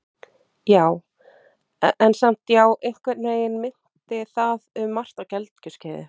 Já, en samt- já, einhvern veginn minnti það um margt á gelgjuskeiðið.